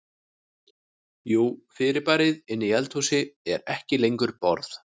Jú fyrirbærið inni í eldhúsi er ekki lengur borð.